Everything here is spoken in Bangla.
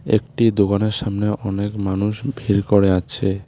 একটি দোকানের সামনে অনেক মানুষ ভিড় করে আছে।